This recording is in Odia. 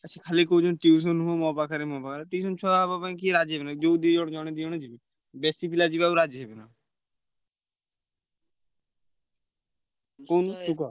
ଆଉ ସିଏ ଖାଲି କହୁଛନ୍ତି tuition ହୁଅ ମୋ ପାଖରେ ମୋ ପାଖରେ tuition ଛୁଆ ହବା ପାଇଁ କିଏ ରାଜି ହେବେନି। ଯୋଉ ଜଣେ ଦି ଜଣ ଜଣେ ଦି ଜଣ ଯିବେ। ବେଶୀ ପିଲା ଯିବାକୁ ରାଜି ହେବେନି। ତୁ କହୁନୁ ତୁ କୁହ।